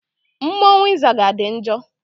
Mmọnwụ ịzaga dị njọ.